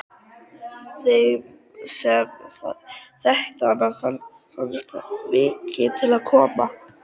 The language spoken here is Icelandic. Þeim sem þekktu hana fannst mikið til koma.